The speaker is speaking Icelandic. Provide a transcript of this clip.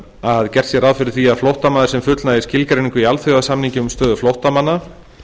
að gert er ráð fyrir því að flóttamaður sem fullnægir skilgreiningu í alþjóðasamningi um stöðu flóttamanna